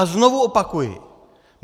A znovu opakuji.